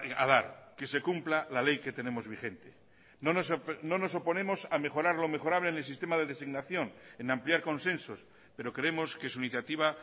a dar que se cumpla la ley que tenemos vigente no nos oponemos a mejorar lo mejorable en el sistema de designación en ampliar consensos pero creemos que su iniciativa